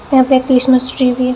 यहां पे Christmas tree भी--